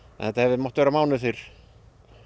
þetta hefði mátt vera mánuði fyrr